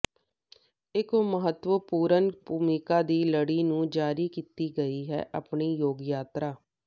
ਇੱਕ ਮਹੱਤਵਪੂਰਨ ਭੂਮਿਕਾ ਦੀ ਲੜੀ ਨੂੰ ਜਾਰੀ ਕੀਤੀ ਗਈ ਹੈ ਆਪਣੀ ਗੋਤ ਯਾਤਰਾ